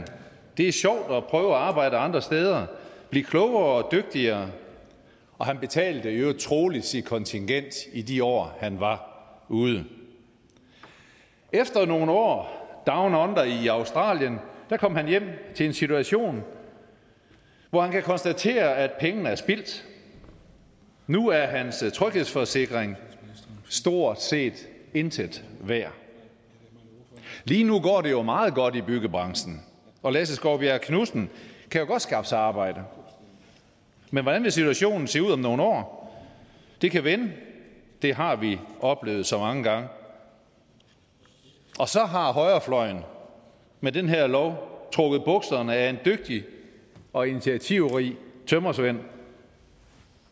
det er sjovt at prøve at arbejde andre steder at blive klogere og dygtigere og han betalte i øvrigt troligt sit kontingent i de år han var ude efter nogle år down under i australien kommer han hjem til en situation hvor han kan konstatere at pengene er spildt nu er hans tryghedsforsikring stort set intet værd lige nu går det jo meget godt i byggebranchen og lasse skovbjerg knudsen kan godt skaffe sig arbejde men hvordan vil situationen se ud om nogle år det kan vende det har vi oplevet så mange gange og så har højrefløjen med den her lov trukket bukserne af en dygtig og initiativrig tømrersvend